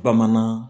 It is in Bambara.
Bamanan